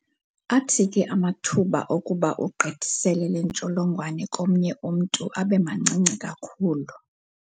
Athi ke amathuba okuba ugqithisele le ntsholongwane komnye umntu abe mancinci kakhulu.